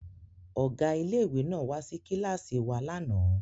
Ọ̀gá ilé ìwé náà wá sí kíláàsì wa lánàá